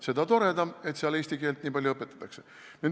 Seda toredam, et seal eesti keelt nii palju õpetatakse.